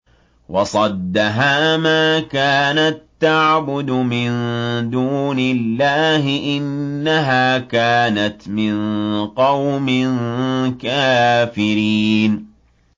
وَصَدَّهَا مَا كَانَت تَّعْبُدُ مِن دُونِ اللَّهِ ۖ إِنَّهَا كَانَتْ مِن قَوْمٍ كَافِرِينَ